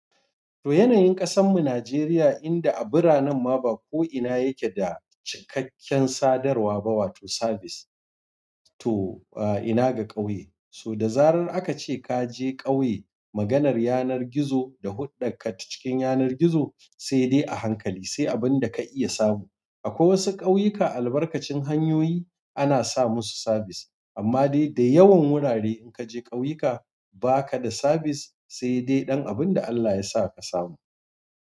To yanayin ƙasan mu Najeriya inda a biranen ma ba ko ina yake da cikakken sadarwa ba wato sabis. To ina ga ƙauye, to da zarar aka ce ka je ƙauye maganar yanar gizo da huɗɗakar ka ta cikin yanar gizo sai dai a hankali sai abin da ka iya samu. Akwai wasu ƙauyuka albarkacin hanyoyi ana sa musu sabis amma dai da yawan wurare in ka je ƙauyuka ba ka da sabis sai dai ɗan abin da Allah ya sa ka samu.